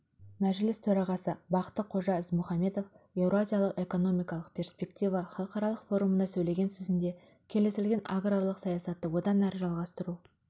мәжіліс төрағасы бақты қожа ізмұхамбетов еуразиялық экономикалық перспектива халықаралық форумында сөйлеген сөзінде келісілген аграрлық саясатты одан әрі жалғастыру